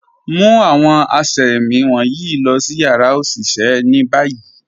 Mu awọn àṣẹ̀mí wọnyi lọ̀ si yara oṣiṣẹ̀ ni bayi.